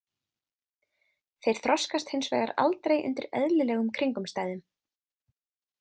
Þeir þroskast hins vegar aldrei undir eðlilegum kringumstæðum.